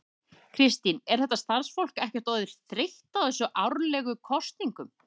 Kristín, er þetta starfsfólk ekkert orðið þreytt á þessum árlegu kosningum?